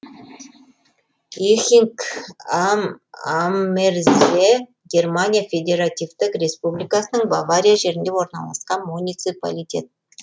эхинг ам аммерзе германия федеративтік республикасының бавария жерінде орналасқан муниципалитет